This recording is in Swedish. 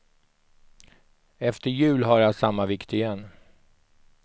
Efter jul har jag samma vikt igen.